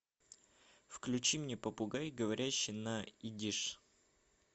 включи мне попугай говорящий на идиш